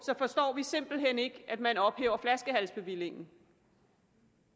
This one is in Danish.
forstår vi simpelt hen ikke at man ophæver flaskehalsbevillingen